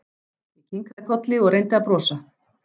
Ég kinkaði kolli og reyndi að brosa.